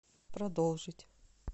продолжить